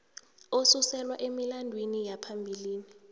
osuselwa emilandwini yaphambilini